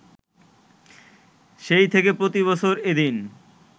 সেই থেকে প্রতিবছর এ দিন